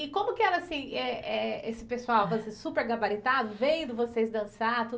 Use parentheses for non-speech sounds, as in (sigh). E como que era, assim, eh eh, esse pessoal (unintelligible) super gabaritado vendo vocês dançar? (unintelligible)